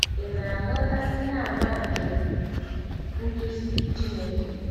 Ị̀ Na-aghọta Ihe àmà nke nduzi Chineke?